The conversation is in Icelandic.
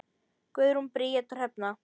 Guðrún Bríet og Hrefna.